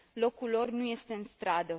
Locul lor nu este în stradă.